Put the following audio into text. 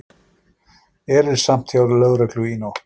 Erilsamt hjá lögreglu í nótt